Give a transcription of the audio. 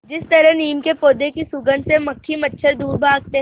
जिस तरह नीम के पौधे की सुगंध से मक्खी मच्छर दूर भागते हैं